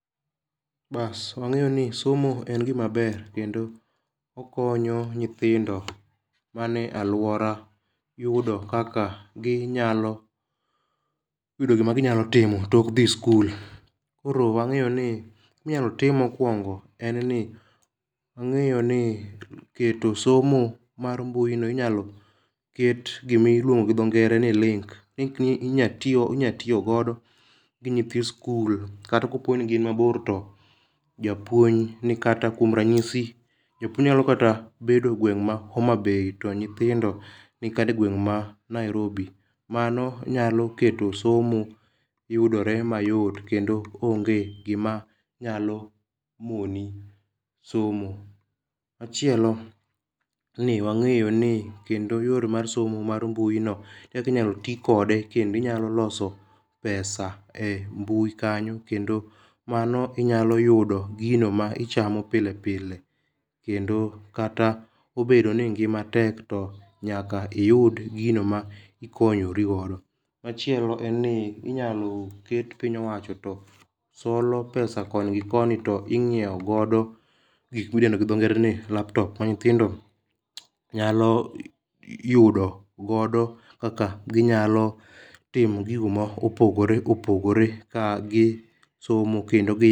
Bas wang'eyo ni somo en gima ber kendo okonyo nyithindo mani e luora yudo kaka ginyalo yudo gima ginyalo timo tok dhi skul. Koro wang'eyo ni minyalo tim mokwongo en ni wang'eyo ni keto somo mar mbui no inyalo ket gimiluongo gi dho ngere ni link. Link ni inya tiyo inyalo tiyo godo gi nyithi sikul kata kapo ni gin mabor to japuonj ni kata kuom ranyiso japuonj nay bedo gweng ma Homabay to nyithindo nikata e gweng' ma Nairobi. Mano nyalo keto somo yudotre mayot kendo onge gima nyalo moni somo. Machielo ni wang'eyo ni yor mar somo mar mbui no kaki nyalo ti kode kendi nyalo loso pesa e mbui kanyo kendo mano inyalo yudi gino ma ichamo pilepile kendo kata obedo ni ngima tek to nyaka iyud gino ma ikonyori godo. Machielo en ni inyalo ket pinya owacho to solo pesa kon gi koni to inyiewo godo gik midendo gi dho ngere ni laptop ma nyithindo nyalo yudo godo kaka ginyalo timo gigo ma opogore opogore ka gi somo kendo be